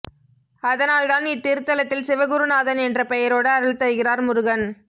அதனால் தான் இத்திருத்தலத்தில் சிவகுருநாதன் என்ற பெயரோடு அருள் தருகிறார் முருகன்